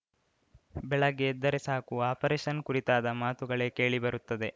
ಬೆಳಗ್ಗೆ ಎದ್ದರೆ ಸಾಕು ಆಪರೇಶನ್‌ ಕುರಿತಾದ ಮಾತುಗಳೇ ಕೇಳಿಬರುತ್ತದೆ